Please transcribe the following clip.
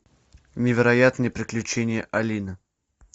невероятные приключения алины